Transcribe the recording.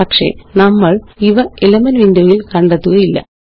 പക്ഷെ നമ്മളിവ elements window യില് കണ്ടെത്തുകയില്ല